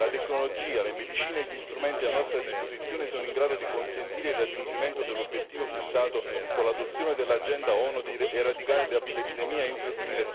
La tecnologia, le medicine e gli strumenti a nostra disposizione sono in grado di consentire il raggiungimento dell'obiettivo fissato con l'adozione dell'agenda ONU di eradicare l'epidemia entro il